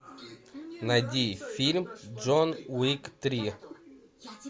найди фильм джон уик три